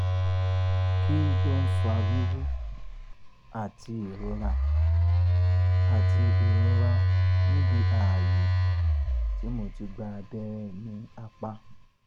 kih ló ń fa wíwú àti ìrora níbi àti ìrora níbi ààyè tí mo ti gba abẹ́rẹ́ ní apá?